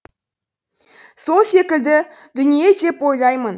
сол секілді дүние деп ойлаймын